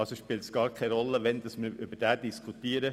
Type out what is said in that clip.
Also spielt es keine Rolle, wann wir über den Vorstoss diskutieren.